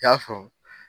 I y'a faamu